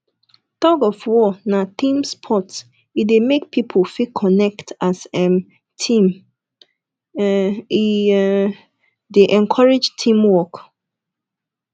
thug of war na team sport e dey make pipo fit connect as um team um e um e dey encourage team work